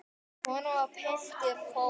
Kona og piltur fórust.